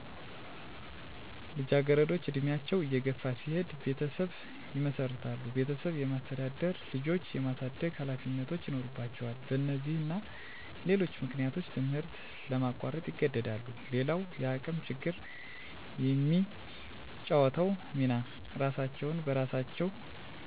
ልጃገረዶች እድሜያቸው እየገፋ ሲሄድ ቤተሰብ ይመሰርታሉ ቤተሰብ የማስተዳደር፣ ልጆች የማሳደግ ሀላፊነቶች ይኖርባቸዋል በነዚህና ሌሎች ምክንያቶች ትምህርት ለማቋረጥ ይገደዳሉ። _ሌላዉ የአቅም ችግር የሚጫወተዉ ሚና እራሳቸዉን በራሳቸዉ የሚያስተዳድሩ ከሆነ ሰፊ ጊዜያቸዉን በስራ ስለሚያሳልፋ ለትምህርት ጊዜ አይኖራቸውም _ከባህላዊ ደንቦች አንፃር ከ ዕድሜ ጋር ተያይዞ ከማህበረሰቡ የሚመጣ ትችት በመሳቀቅ መማር ያቆማሉ